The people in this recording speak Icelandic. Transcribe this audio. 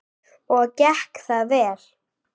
Og gekk það vel?